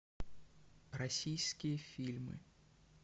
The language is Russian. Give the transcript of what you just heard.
российские фильмы